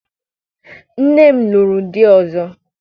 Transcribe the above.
Nne m lụrụ di ọzọ.